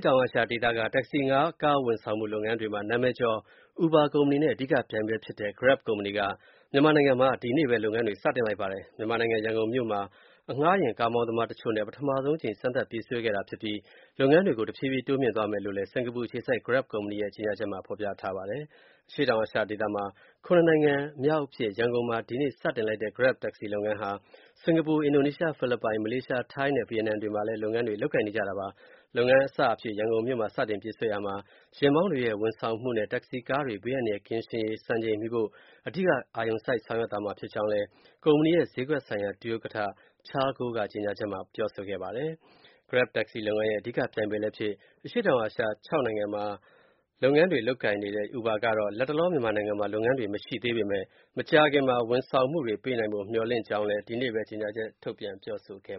တောင်အာရှ ဒေသက တက္ကစီအငှားကားဝန်ဆောင်မှု လုပ်ငန်းတွေမှာ နာမည်ကျော် Uber ကုမ္ပဏီနဲ့ အဓိကပြိုင်ဖက်ဖြစ်တဲ့ Grab ကုမ္ပဏီက မြန်မာနိုင်ငံမှာ ဒီကနေ့ပဲ လုပ်ငန်းတွေ စတင်လိုက်ပါတယ်။ မြန်မာနိုင်ငံ ရန်ကုန်မြို့မှာ အငှားယာဉ်မောင်းသမားတချို့နဲ့ ပထမဆုံးအကြိမ် စမ်းသပ်ပြေးဆွဲခဲ့တာဖြစ်ပြီး၊ လုပ်ငန်းတွေကို တဖြည်းဖြည်း တိုးမြှင့်သွားမယ်လို့လည်း ကုမ္ပဏီရဲ့ ကြေညာချက်မှာ ဖော်ပြထားပါတယ်။ အရှေ့တောင်အာရှဒေသမှာ ၇ နိုင်ငံမြောက်အဖြစ်၊ ရန်ကုန်မှာ ဒီကနေ့စတင်လိုက်တဲ့ Grab တက္ကစီလုပ်ငန်းဟာ စင်္ကာပူ၊ အင်ဒိုနီးရှား၊ ဖိလစ်ပိုင်၊ မလေးရှား၊ ထိုင်းနဲ့ ဗီယက်နမ်တွေမှာလည်း လုပ်ငန်းတွေ လုပ်ကိုင်နေကြတာပါ။ လုပ်ငန်းအစအဖြစ် ရန်ကုန်မြို့မှာ စတင်ပြေးဆွဲရာမှာ ယာဉ်မောင်းတွေရဲ့ ဝန်ဆောင်မှုနဲ့ တက္ကစီကားတွေ ဘေးအန္တရာယ်ကင်းရှင်းရေး စံချိန်မီဖို့ အဓိက အာရုံစိုက် ဆောင်ရွက်သွား မှာဖြစ်ကြောင်းလည်း ကုမ္ပဏီရဲ့ ဈေးကွက်ဆိုင်ရာ ဒုဥက္ကဋ္ဌ Cheryl Goh က ကြေညာချက်မှာ ပြောဆိုခဲ့ပါတယ်။ Grab တက္ကစီလုပ်ငန်းရဲ့ အဓိကပြိုင်ဘက်လည်းဖြစ်၊ အရှေ့တောင်အာရှ နိုင်ငံ ၆ နိုင်ငံမှာ လုပ်ငန်းတွေ လုပ်ကိုင်နေတဲ့ Uber ကတော့၊ လတ်တလော မြန်မာနိုင်ငံမှာ လုပ်ငန်းတွေ မရှိသေးပေမဲ့၊ မကြာခင်မှာ ဝန်ဆောင်မှုတွေ ပေးနိုင်ဖို့ မျှော်လင့်ကြောင်းလည်း ဒီကနေ့ပဲ ကြေညာချက်ထုတ်ပြန် ပြောဆိုခဲ့